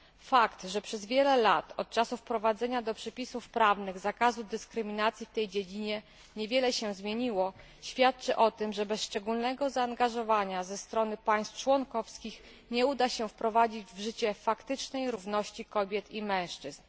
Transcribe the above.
Fakt, że przez wiele lat od czasu wprowadzenia do przepisów prawnych zakazu dyskryminacji w tej dziedzinie niewiele się zmieniło, świadczy o tym, że bez szczególnego zaangażowania ze strony państw członkowskich nie uda się wprowadzić w życie faktycznej równości kobiet i mężczyzn.